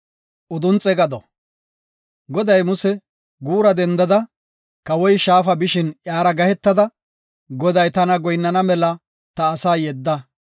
Goday Muse, “Guura dendada, kawoy Shaafa bishin iyara gahetada, ‘Goday, tana goyinnana mela ta asaa yedda.